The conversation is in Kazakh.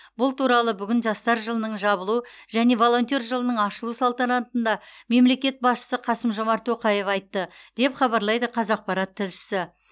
бұл туралы бүгін жастар жылының жабылу және волонтер жылының ашылу салтанатында мемлекет басшысы қасым жомарт тоқаев айтты деп хабарлайды қазақпарат тілшісі